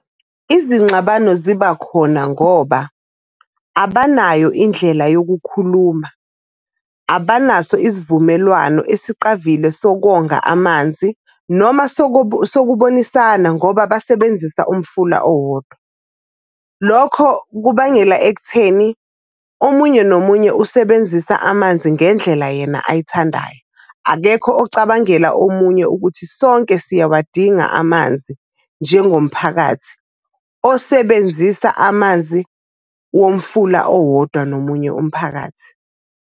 Izingxabano ziba khona ngoba abanayo indlela yokukhuluma. Abanaso isivumelwano esiqavile sokonga amanzi noma sokubonisana ngoba basebenzisa umfula owodwa. Lokho kubangela ekutheni omunye nomunye usebenzisa amanzi ngendlela yena ayithandayo. Akekho ocabangela omunye ukuthi sonke siyawadinga amanzi njengomphakathi osebenzisa amanzi womfula owodwa nomunye umphakathi.